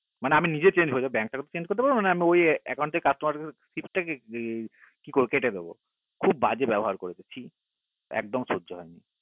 না মানে আমি নিজেই change হয়ে যাবো bank তাকে তো change করতে পারবো না আমি ওই account তে customer list টা কে কি করবো কেটে দেব খুব বাজে ব্যবহার করেছে ছিএকদম সহ্য হয় না